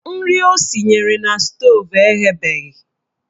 Nri o sinyere na stoovu eghebeghi